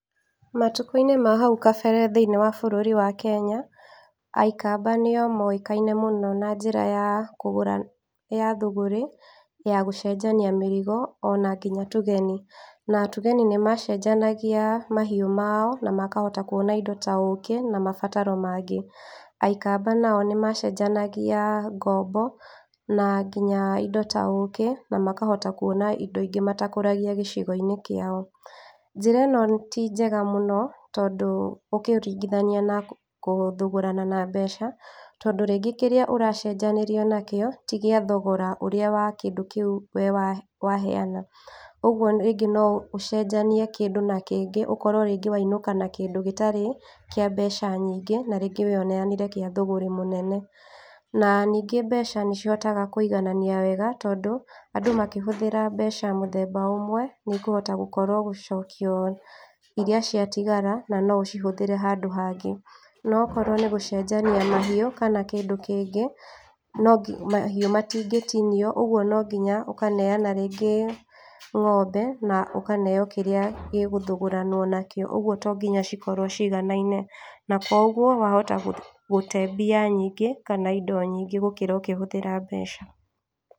Matukũ-inĩ ma hau kabere thĩiniĩ wa bũrũri wa Kenya, aikamba nĩo moĩkaine mũno na njĩra ya kũgura, na thũgũrĩ ya gũcenjania mĩrigo ona nginya a Tugeni, a Tugeni nĩ macenjanagia mahiũ mao na makahota kuona indo ta ũkĩ, na mabataro mangĩ, aikamaba nao nĩ macenjanagia ngombo, na nginya indo ta ũkĩ na makahota kuona indo ingĩ matakũragia gĩcigo-inĩ kĩao, njĩra ĩno ti njega mũno tondũ ũkĩrringithania na gũthogorana na mbeca, tondũ kĩrĩa ũracenjanĩrio na kĩo ti gĩa thogora wa kĩrĩa we wa heyana, ũguo rĩngĩ no ũcenjanie kĩndũ na kĩngĩ, ũkorwo rĩngĩ wainũka na kĩndũ gĩtarĩ kĩa mbeca nyingĩ na rĩngĩ we uneyanire gĩa thũgũrĩ mũnene, na ningĩ mbeca nĩ cihotaga kũiganania wega, tondũ andũ makĩhũthĩra mbeca mũthemba ũmwe nĩikũhota gũkorwo gũcokio irĩa ciatigara na no ũcihũthĩre handũ hangĩ, no okorwo nĩ gũcenjania mahiũ, kana kĩndũ kĩngĩ, no mahiũ matingĩtinio, ũguo no nginya ũkaneyana rĩngĩ ng'ombe na ũkaneyo kĩrĩa kĩ gũthũgũranwo na kĩo, ũguo tonginya ci korwo ciganaine , na koguo wahota gũte mbia nyingĩ kana indo nyingĩ gũkĩra ũkĩhũthĩra mbeca.